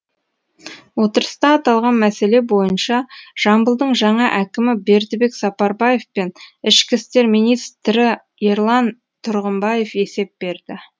отырыста аталған мәселе бойынша жамбылдың жаңа әкімі бердібек сапарбаев пен ішкі істер министрі ерлан тұрғымбаев есеп берді